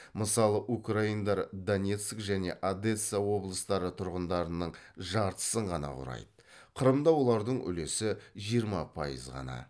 мысалы украиндар донецк және одесса облыстары тұрғындарының жартысын ғана құрайды қырымда олардың үлесі жиырма пайыз ғана